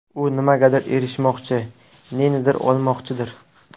U nimagadir erishmoqchi, nenidir olmoqchidir.